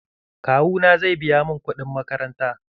Kawu na zai biya mun kuɗin makaranta.